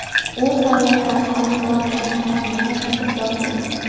U sayyohlarni olib borgan mehmonxonaga qaytib borgan.